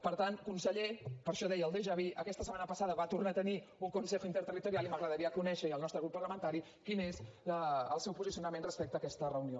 per tant conseller per això deia el déjà vu aquesta setmana passada va tornar a tenir un consejo interterritorial i m’agradaria conèixer i al nostre grup parlamentari quin és el seu posicionament respecte a aquesta reunió